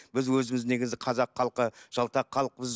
біз өзіміз негізі қазақ халқы жалтақ халықпыз